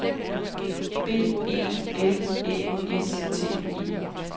B E L Æ S T E